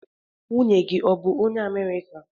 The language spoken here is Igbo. Nwunye gi bu onye America?